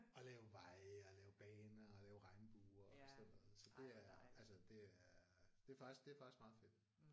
Og lave veje og lave baner og lave regnbuer og sådan noget så det er altså det er det er faktisk det er faktisk meget fedt